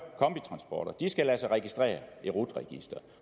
kombitransporter skal lade sig registrere i rut registeret og